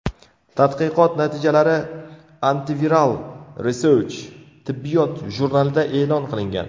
Tadqiqot natijalari Antiviral Research tibbiyot jurnalida e’lon qilingan .